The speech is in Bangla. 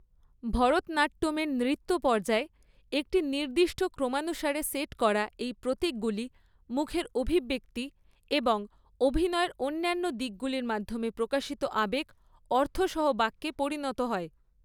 ভরতনাট্যমের নৃত্য পর্যায়ে, একটি নির্দিষ্ট ক্রমানুসারে সেট করা এই প্রতীকগুলি মুখের অভিব্যক্তি এবং অভিনয়ের অন্যান্য দিকগুলির মাধ্যমে প্রকাশিত আবেগ অর্থ সহ বাক্যে পরিণত হয়।